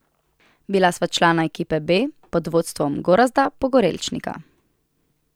Bila sva člana ekipe B pod vodstvom Gorazda Pogorelčnika.